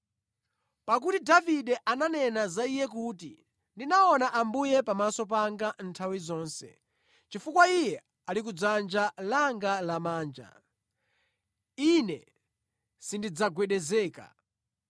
Pakuti Davide ananena za Iye kuti, “ ‘Ndinaona Ambuye pamaso panga nthawi zonse. Chifukwa Iye ali kudzanja langa lamanja, Ine sindidzagwedezeka.